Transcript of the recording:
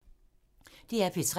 DR P3